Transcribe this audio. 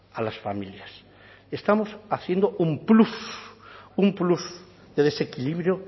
a las familias estamos haciendo un plus un plus de desequilibrio